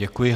Děkuji.